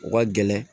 U ka gɛlɛn